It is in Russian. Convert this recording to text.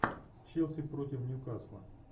челси против нью касла